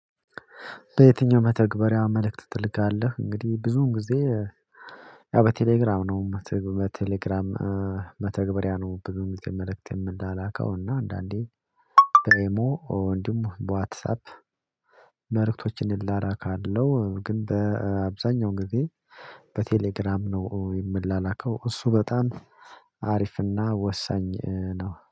በየትኛው መተግበሪያ መልእክት ትልካለህ? እንግዲህ ብዙውን ጊዜ ያው በቴሌግራም ነው በቴሌግራም መተግበሪያ ነው ብዙውን ግዜ መልእክት የምላላከው እና አንዳንዴ በኢሞ እንዲሁምበዋትስአፕ መልእክቶችን እላላካለው ግን በአብዛኛው ጊዜ በቴሌግራም ነው የምላላከው። እሱ በጣም አሪፍ እና ወሳኝ ነው